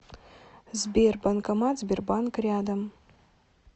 сбер банкомат сбербанк рядом